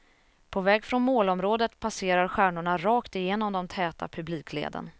På väg från målområdet passerar stjärnorna rakt igenom de täta publikleden.